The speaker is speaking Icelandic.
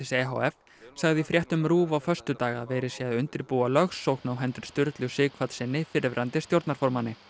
e h f sagði í fréttum RÚV á föstudag að verið sé að undirbúa lögsókn á hendur Sturlu Sighvatssyni fyrrverandi stjórnarformanni